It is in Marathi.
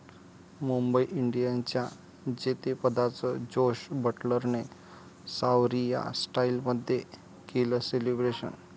मुंबई इंडियन्सच्या जेतेपदाचं जोस बटलरने 'सावरिया' स्टाईलमध्ये केलं सेलिब्रेशन!